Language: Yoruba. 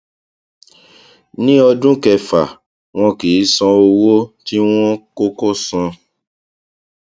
ní ọdún kẹfà wọn kì í san owó tí wọn kò kò san